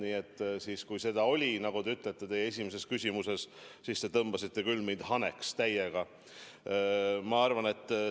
Nii et kui seda oli, nagu te ütlete, teie esimeses küsimuses, siis te tõmbasite mind küll täiega haneks.